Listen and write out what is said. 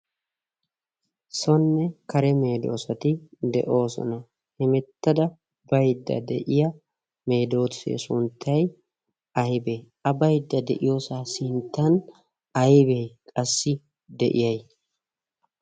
sonne kare meedoosati de'oosona hemettada baydda de'iya meedoosee sunttay aybee a baydda de'iyoosaa sinttan aybee qassi de'iyay